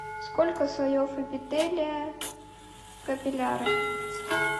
сколько слоев эпителия в капиллярах